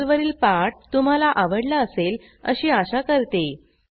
हा पर्लवरील पाठ तुम्हाला आवडला असेल अशी आशा करते